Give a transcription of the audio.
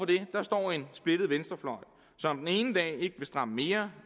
det står en splittet venstrefløj som den ene dag ikke vil stramme mere